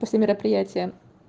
просто мероприятия